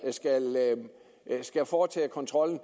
skal foretage kontrollen